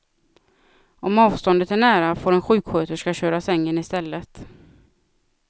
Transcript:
Om avståndet är nära, får en sjuksköterska köra sängen istället.